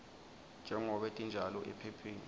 njengobe tinjalo ephepheni